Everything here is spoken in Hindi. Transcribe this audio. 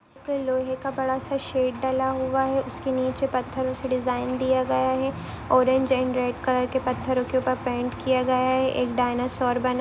लोहे का बड़ा सा शेड ढला हुआ है उसके नीचे पत्थरो से डिज़ाइन दिया गया है ऑरेंज अँड रेड के पत्थरो के ऊपर पेंट किया गया है एक डायनासोर बना--